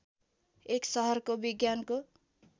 एक सहर विज्ञानको